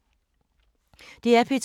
DR P2